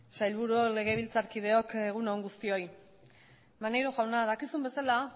sailburuok legebiltzar kideok egun on guztioi maneiro jauna dakizun bezala